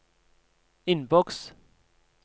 innboks